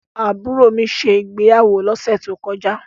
Àbúrò mi ṣe ìgbéyàwó lọ́sẹ̀ tó kọjá.